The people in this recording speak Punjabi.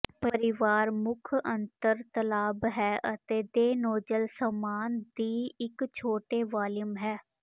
ਪਰਿਵਾਰ ਮੁੱਖ ਅੰਤਰ ਤਲਾਬ ਹੈ ਅਤੇ ਦੇਨੌਜ਼ਲ ਸਾਮਾਨ ਦੀ ਇੱਕ ਛੋਟੇ ਵਾਲੀਅਮ ਹੈ